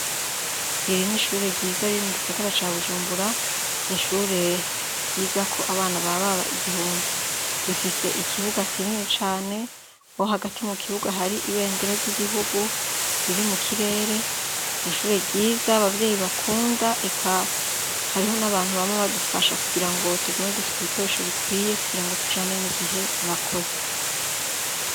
Iri n'ishure ryiza riri mu gisagara ca Bujumbura, ishure ryigako abana baba igihumbi. Rifise ikibuga kinini cane, aho hagati y'ikibuga hari ibendera ry'igihugu, riri mu kirere , ishure ryiza abavyeyi nakunda eka hariho n'abantu bama badufasha kugirango tugume dufise ibikoresho bikwiye kugirango tujane n'igihe, Murakoze.